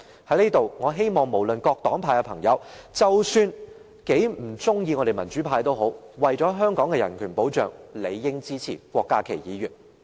我在此希望各黨派的朋友，即使他們很不喜歡我們民主派，但為了香港的人權保障，也理應支持郭家麒議員的修正案。